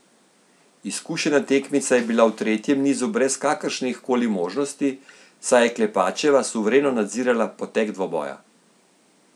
Izkušena tekmica je bila v tretjem nizu brez kakršnih koli možnosti, saj je Klepačeva suvereno nadzirala potek dvoboja.